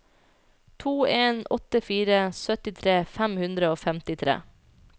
to en åtte fire syttitre fem hundre og femtitre